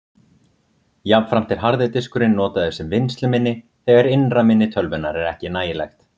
Jafnframt er harði diskurinn notaður sem vinnsluminni þegar innra minni tölvunnar er ekki nægilegt.